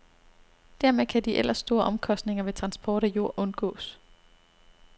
Dermed kan de ellers store omkostninger ved transport af jord undgås.